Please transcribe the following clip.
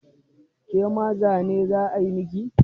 Ke ma zane za a yi miki?